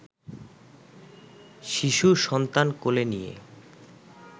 শিশু সন্তান কোলে নিয়ে